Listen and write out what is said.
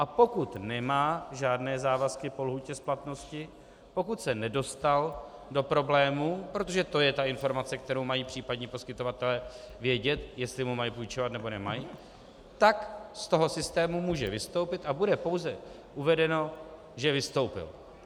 A pokud nemá žádné závazky po lhůtě splatnosti, pokud se nedostal do problémů, protože to je ta informace, kterou mají případně poskytovatelé vědět, jestli mu mají půjčovat, nebo nemají, tak z toho systému může vystoupit a bude pouze uvedeno, že vystoupil.